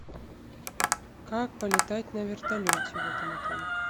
как полетать на вертолете в этом отеле